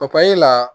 la